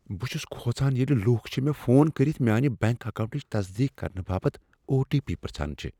بہٕ چھس کھوژان ییٚلہ لوٗکھ چھ مےٚ فون کٔرتھ میٛانہ بنٛک اکاونٛٹٕچ تصدیٖق کرنہٕ باپتھ او ٹی پی پرٛژھان چھِ ۔